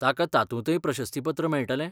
ताका तातूंतय प्रशस्तीपत्र मेळटलें?